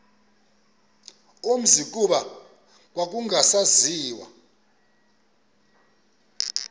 umzi kuba kwakungasaziwa